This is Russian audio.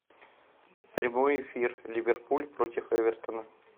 прямой эфир ливерпуль против эвертона